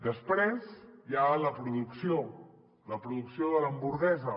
després hi ha la producció la producció de l’hamburguesa